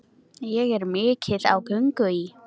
Ég er mikið á göngu í